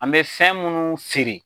An bɛ fɛn minnu feere.